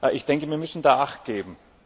Ich denke, wir müssen da achtgeben.